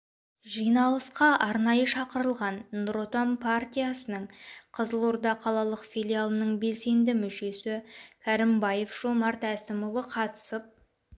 жиналысқа арнайы шақырылған нұр отан партиясының қызылорда қалалық филиалының белсенді мүшесі кәрімбаев жомарт әсімұлы қатысып